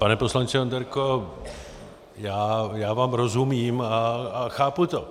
Pane poslanče Onderko, já vám rozumím a chápu to.